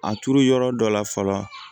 A turu yɔrɔ dɔ la fɔlɔ